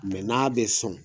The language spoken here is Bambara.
n'a bɛ sɔn